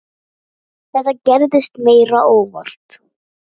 Nei, þetta gerðist meira óvart.